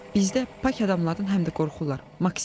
Bizdə pak adamlardan həm də qorxurlar, Maksimiç.